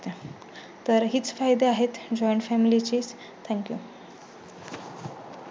तर हीच फायदे आहेत. Joint family che Thank you